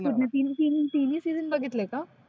तीन तीन तीन्ही season बघितले का?